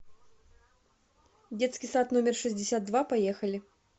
детский сад номер шестьдесят два поехали